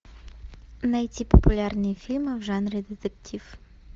найти популярные фильмы в жанре детектив